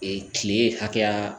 kile hakɛya